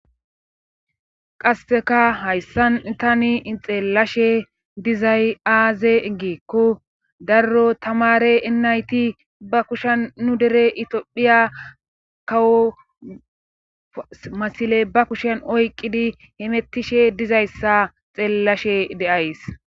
Qasseka hayssan tani ixeellashe dizay aaze geekko darro tamare enayti ba kushan nu dere itophiya kawo masile ba kushen oyqqidi hemettishe dizayssa xeellashe deays.